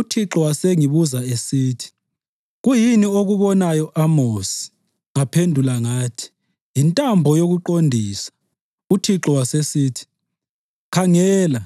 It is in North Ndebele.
UThixo wasengibuza esithi, “Kuyini okubonayo, Amosi?” Ngaphendula ngathi, “Yintambo yokuqondisa.” UThixo wasesithi, “Khangela,